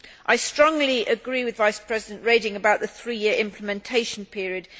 I strongly agree with Vice President Reding about the three year implementation period.